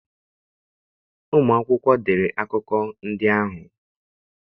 Ụmụ akwụkwọ dere akụkọ ndị ahụ.